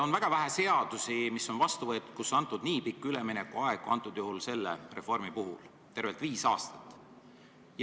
On väga vähe seadusi, mille vastuvõtmisel on antud nii pikk üleminekuaeg kui selle reformi puhul: tervelt viis aastat.